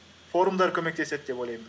форумдар көмектеседі деп ойлаймын